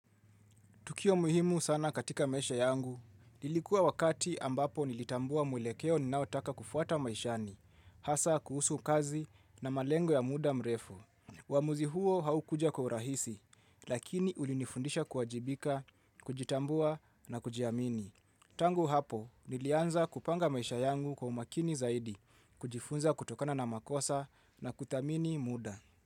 Tukio muhimu sana katika maisha yangu. Nilikuwa wakati ambapo nilitambua mwelekeo ninaotaka kufuata maishani. Hasa kuhusu kazi na malengo ya muda mrefu. Uamuzi huo haukuja kwa urahisi, lakini ulinifundisha kuwajibika, kujitambua na kujiamini. Tangu hapo, nilianza kupanga maisha yangu kwa umakini zaidi, kujifunza kutokana na makosa na kuthamini muda.